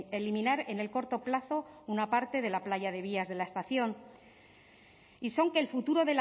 eliminar en el corto plazo una parte de la playa de vías de la estación y son que el futuro